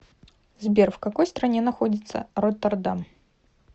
сбер в какой стране находится роттердам